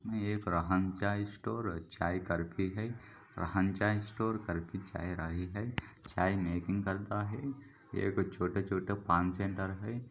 ये एक राहन चाय स्टोर चाय करफ़ी है राहन चाय स्टोर करफी चाय रही है चाय मेंकिग करता है एक छोटे-छोटे पान सेटर है।